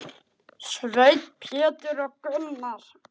Sveinn, Pétur og Gunnar.